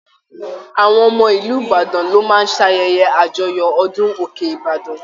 Àwọn ọmọ ìlú Ìbàdàn lọ máa ṣ'ayẹyẹ àjọyọ̀ ọdún òkè ìbàdàn.